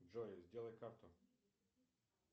джой сделай карту